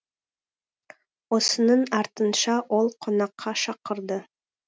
осының артынша ол қонаққа шақырды